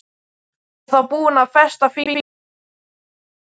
Ég var þá búin að festa fingur á einhverri meinsemd.